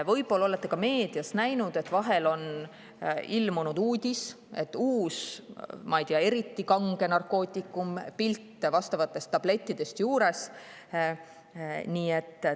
Võib-olla olete ka meedias näinud, et vahel on ilmunud uudis uuest, ma ei tea, eriti kangest narkootikumist, pilt tablettidest ka juures.